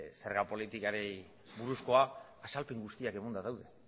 zerga politikari buruzko azalpen guztiak emanda daude